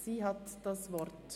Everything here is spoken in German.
Sie hat das Wort.